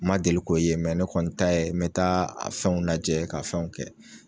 Ma deli k'o ye ne kɔni ta ye mɛ taa a fɛnw lajɛ k'a fɛnw kɛ.